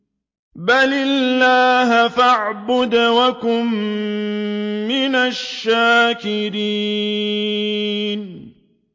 بَلِ اللَّهَ فَاعْبُدْ وَكُن مِّنَ الشَّاكِرِينَ